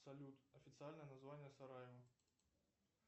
салют официальное название сараево